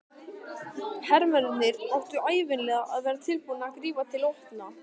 Hermennirnir áttu ævinlega að vera tilbúnir að grípa til vopna.